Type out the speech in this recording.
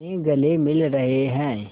में गले मिल रहे हैं